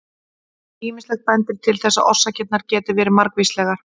Ýmislegt bendir til þess að orsakirnar geti verið margvíslegar.